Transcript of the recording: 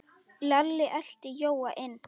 Lalli elti Jóa inn.